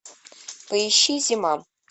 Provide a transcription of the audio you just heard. поищи зима